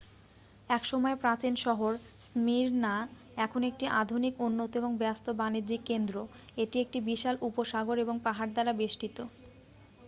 একসময়ের প্রাচীন শহর স্মির্ণা এখন একটি আধুনিক উন্নত এবং ব্যস্ত বাণিজ্যিক কেন্দ্র এটি একটি বিশাল উপসাগর এবং পাহাড় দ্বারা বেষ্টিত